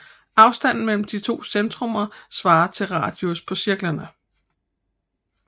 Afstanden mellem de to centrummer svarer til radius på cirklerne